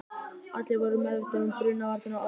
Allir voru svo meðvitaðir um brunavarnir um áramótin.